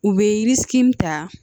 U bɛ ta